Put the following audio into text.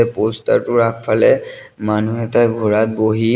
poster টোৰ আগফালে মানুহ এটা ঘোঁৰাত বহি--